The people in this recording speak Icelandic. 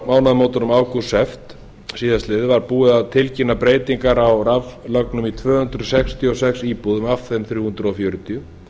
mánaðamótunum ágúst september síðastliðinn var búið að tilkynna breytingar á raflögnum í tvö hundruð sextíu og sex íbúðum af þeim þrjú hundruð fjörutíu